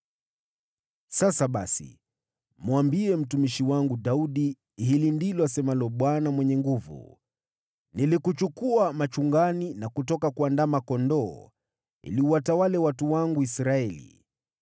“Sasa basi, mwambie mtumishi wangu Daudi, ‘Hili ndilo asemalo Bwana Mwenye Nguvu Zote: Nilikuchukua machungani na kutoka kuandama kondoo ili uwatawale watu wangu Israeli.